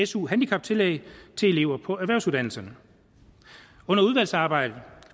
su handicaptillæg til elever på erhvervsuddannelserne under udvalgsarbejdet